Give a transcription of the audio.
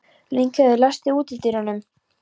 Lyngheiður, læstu útidyrunum.